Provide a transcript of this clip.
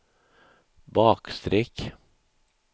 bakstreck